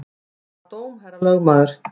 Hvaða dóm, herra lögmaður?